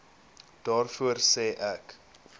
daarvoor sê ek